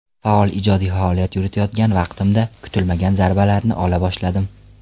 Faol ijodiy faoliyat yuritayotgan vaqtimda kutilmagan zarbalarni ola boshladim.